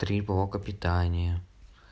три блока питания